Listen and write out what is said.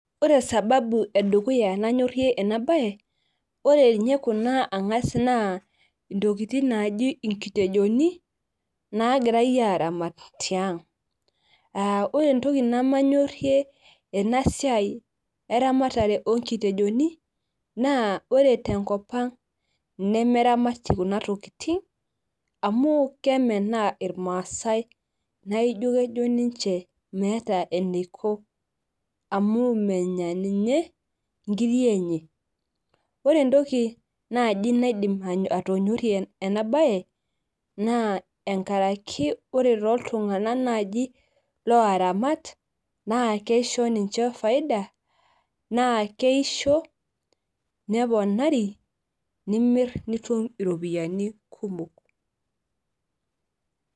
ore sababu edukuya nanyorie ena bae, ore ninye kuna naa ntokitin naaji inkitejoni, naagirae aaramat tiang. ore entoki nemanyorie ena siai eramatare oonkitejoni. naa ore tenkop ang nemeramati kuna tokitin. amu kemenaa irmaasae naa kejo ninche meeta, eneiko amu menya ninye nkiri enye. ore entoki naaji naidim atonyorie ena bae naa enkaraki, ore toltunganak naaji ooramat naa kisho ninche faiada, naa keisho, neponari, nimir nitum iropiyiani kumok.